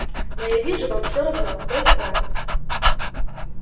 но я вижу вам все равно кто их враг